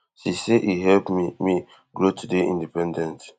she say e help me me grow to dey independent